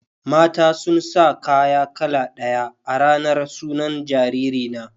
Mata sun sa kaya kala ɗaya a ranar sunan jariri na.